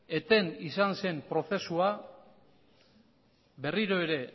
eten izan zen prozesua berriro ere